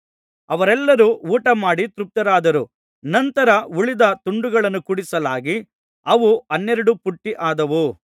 ಅವರೆಲ್ಲರು ಊಟಮಾಡಿ ತೃಪ್ತರಾದರು ನಂತರ ಉಳಿದ ತುಂಡುಗಳನ್ನು ಕೂಡಿಸಲಾಗಿ ಅವು ಹನ್ನೆರಡು ಪುಟ್ಟಿ ಆದವು